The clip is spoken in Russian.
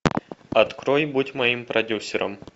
открой будь моим продюсером